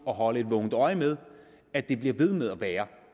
at holde et vågent øje med at det bliver ved med at være